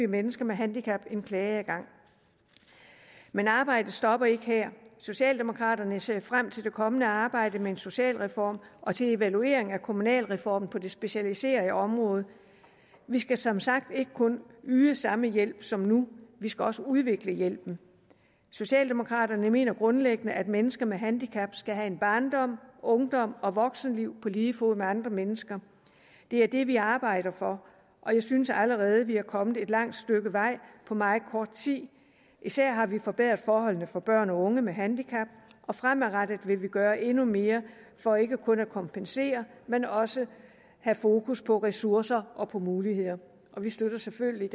mennesker med handicap klageadgang men arbejdet stopper ikke her socialdemokraterne ser frem til det kommende arbejde med en socialreform og til evaluering af kommunalreformen på det specialiserede område vi skal som sagt ikke kun yde samme hjælp som nu vi skal også udvikle hjælpen socialdemokraterne mener grundlæggende at mennesker med handicap skal have en barndom ungdom og voksenliv på lige fod med andre mennesker det er det vi arbejder for og jeg synes allerede vi er kommet et langt stykke vej på meget kort tid især har vi forbedret forholdene for børn og unge med handicap og fremadrettet vil vi gøre endnu mere for ikke kun at kompensere men også have fokus på ressourcer og muligheder vi støtter selvfølgelig